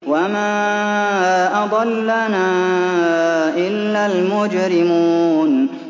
وَمَا أَضَلَّنَا إِلَّا الْمُجْرِمُونَ